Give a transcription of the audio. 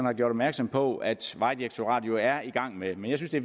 har gjort opmærksom på at vejdirektoratet er i gang med men jeg synes at